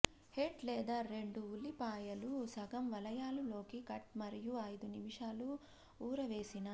head లేదా రెండు ఉల్లిపాయలు సగం వలయాలు లోకి కట్ మరియు ఐదు నిమిషాలు ఊరవేసిన